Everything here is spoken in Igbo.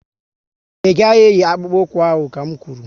Ị gaghị eyi akpụkpu ụkwụ ahụ ka n kwuru!